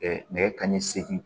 nɛgɛ kanɲɛ seegin